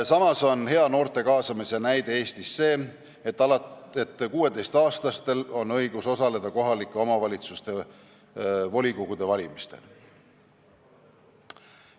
Samas on noorte kaasamise hea näide Eestis see, et 16-aastastel on õigus osaleda kohalike omavalitsuste volikogu valimistel.